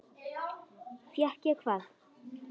Fékk ég hvað?